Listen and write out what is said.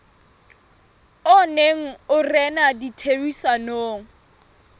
o neng o rena ditherisanong